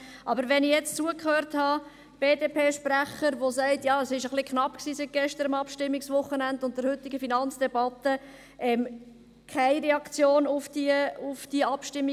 Aber wenn ich jetzt zugehört habe: Der BDP-Sprecher sagt: Ja, es war etwas knapp, seit dem gestrigen Abstimmungswochenende und der heutigen Finanzdebatte – keine materielle Reaktion auf diese Abstimmung.